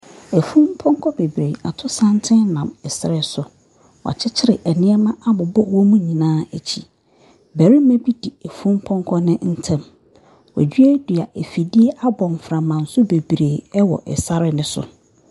Efunpɔkɔ bebree ato santen nam ɛsrɛ so. Wakyikyri ɛnuɔma abubɔ amu nyinaa ekyi. Bɛɛma bi di efunpɔkɔ no ntɛm. Weduadua efidie abɔ nframasu bebree wɔ ɛsare no so.